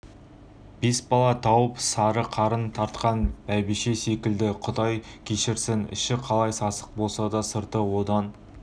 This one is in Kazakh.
бес бала тауып сары қарын тартқан бәйбіше секілді құдай кешірсін іші қалай сасық болса сырты одан